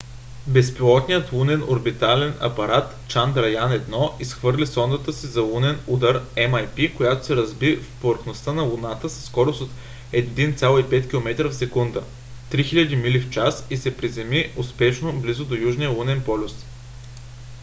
безпилотният лунен орбитален апарат чандраян-1 изхвърли сондата си за лунен удар mip която се разби в повърхността на луната със скорост от 1,5 километра в секунда 3000 мили в час и се приземи успешно близо до южния лунен полюс